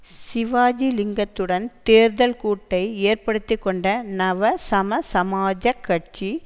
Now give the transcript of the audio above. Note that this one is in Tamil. சிவாஜி லிங்கத்துடன் தேர்தல் கூட்டை ஏற்படுத்திக்கொண்ட நவசமசமாஜக் கட்சி